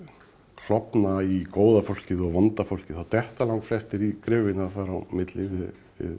klofna í góða fólkið og vonda fólkið þá detta langflestir í gryfjuna þar á milli við